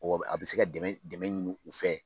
a bɛ se ka dɛmɛ dɛmɛ ɲini u fɛ.